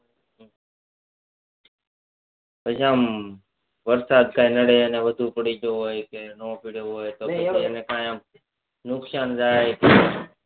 પછી આમ વરસાદ કઈ નડે ને આમ વધુ પડી જોઈ હોય કે ન પડ્યો હોય તો એને પછી કઈ નુકસાન થાય